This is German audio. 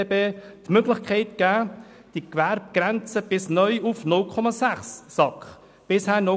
BGBB ermöglicht, die Gewerbegrenze neu bis auf 0,6 SAK zu senken.